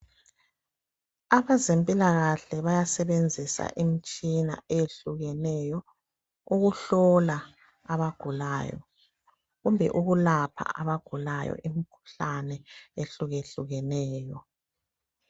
Abazempilakahle bayasebenzisa imtshina eyehlukeneyo ukuhlola abagulayo kumbe ukulapha abagulayo imkhuhlane ehlukehlukeneyo.